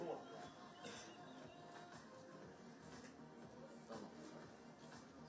Əsas odur ki, məsələn, Azərbaycanda əgər Azərbaycanda olmaqla, sezonun gərgin anında olmaqla.